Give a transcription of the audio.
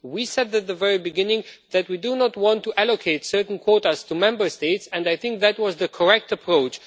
We said at the very beginning that we do not want to allocate certain quotas to Member States and I think that that was the correct approach.